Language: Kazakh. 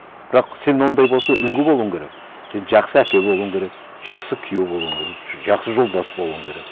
бірақ сен ондай болса үлгі болуың керек сен жақсы әке болуың керек жақсы күйеу болуың керек жақсы жолдас болуың керек